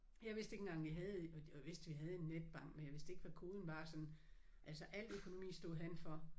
Jeg vidste ikke engang vi havde jo jeg vidste vi havde en netbank men jeg vidste ikke hvad koden var og sådan. Altså alt økonomi stod han for